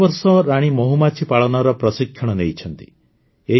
ସେ ଗତବର୍ଷ ରାଣୀ ମହୁମାଛି ପାଳନର ପ୍ରଶିକ୍ଷଣ ନେଇଛନ୍ତି